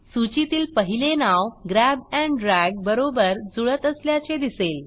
सूचीतील पहिले नाव ग्रॅब एंड ड्रॅग बरोबर जुळत असल्याचे दिसेल